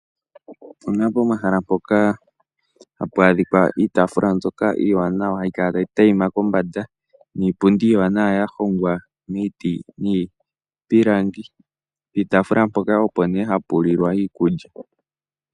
Opu na pomahala mpoka hapu adhika iitaafula mbyoka iiwanawa hayi kala tayi adhima kombanda, niipundi iiwanawa ya hongwa miiti nomiipilangi. Piitaafula mpoka opo nee ha pu lilwa iikulya.